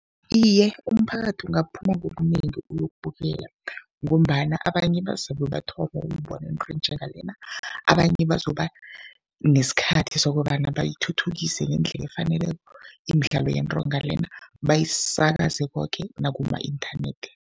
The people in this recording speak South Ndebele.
Iye, umphakathi ungaphuma ngobunengi uyokubukela ngombana abanye bazabe bathoma ukubona into enjengalena, abanye bazoba nesikhathi sokobana bayithuthukise ngendlela efaneleko imidlalo yentonga lena, bayisakaze koke nakuma-inthanethi.